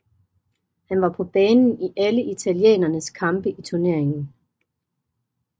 Han var på banen i alle italienernes kampe i turneringen